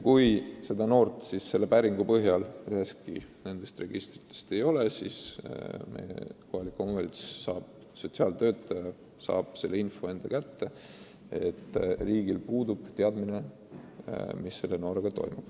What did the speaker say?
Kui konkreetset noort üheski nendest registritest ei ole, siis on kohaliku omavalitsuse sotsiaaltöötajale selge, et riigil puudub teadmine, mis selle noorega toimub.